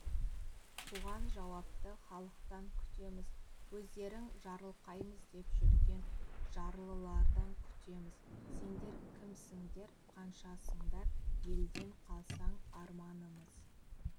бұған жауапты халықтан күтеміз өздерің жарылқаймыз деп жүрген жарлылардан күтеміз сендер кімсіңдер қаншасыңдар елден қалсаң арманымыз